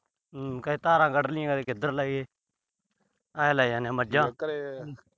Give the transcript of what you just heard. ਹੂੰ। ਕਦੇਂ ਧਾਰਾ ਕੱਢ ਲਈਆਂ। ਕਦੇ ਕਿਧਰ ਲੈ ਗਏ। ਆਏ ਲੈ ਜਾਂਦੇ ਆ ਮੱਝਾਂ।